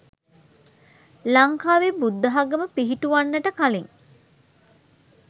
ලංකාවේ බුද්ධාගම පිහිටුවන්නට කලින්